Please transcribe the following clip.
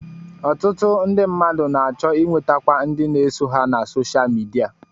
Ọtụtụ ndị mmadụ na-achọ ịnwetakwu ndị na-eso ha na sosha midia